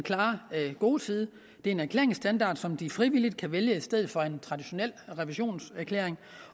gode side det er en erklæringsstandard som de frivilligt kan vælge i stedet for en traditionel revisionserklæring